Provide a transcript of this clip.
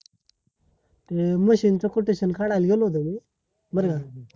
ते machine च quotation काढायला गेलो होतो मी बरा झाला